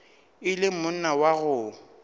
e le monna wa go